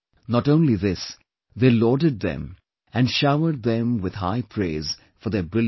Not only this, they lauded them and showered them with high praise for their brilliant performance